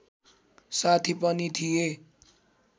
साथी पनि थिए